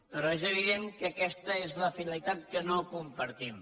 però és evident que aquesta és la finalitat que no compartim